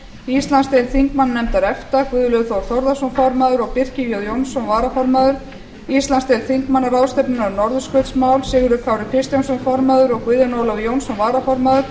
íslandsdeild þingmannanefndar efta guðlaugur þór þórðarson formaður og birkir j jónsson varaformaður íslandsdeild þingmanna ráðstefnunnar um norðurskautsmál sigurður kári kristjánsson formaður og guðjón ólafur jónsson varaformaður